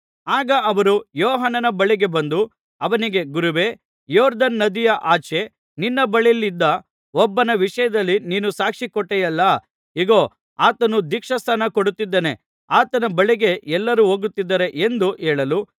ಆಗ ಅವರು ಯೋಹಾನನ ಬಳಿಗೆ ಬಂದು ಅವನಿಗೆ ಗುರುವೇ ಯೊರ್ದನ್ ನದಿಯ ಆಚೆ ನಿನ್ನ ಬಳಿಯಲ್ಲಿದ್ದ ಒಬ್ಬನ ವಿಷಯದಲ್ಲಿ ನೀನು ಸಾಕ್ಷಿ ಕೊಟ್ಟೆಯಲ್ಲಾ ಇಗೋ ಆತನು ದೀಕ್ಷಾಸ್ನಾನ ಕೊಡುತ್ತಿದ್ದಾನೆ ಆತನ ಬಳಿಗೆ ಎಲ್ಲರೂ ಹೋಗುತ್ತಿದ್ದಾರೆ ಎಂದು ಹೇಳಲು